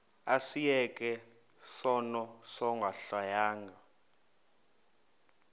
asiyeke sono smgohlwaywanga